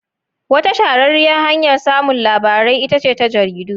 Wata shahararriyar hanyar samun labarai ita ce ta jaridu.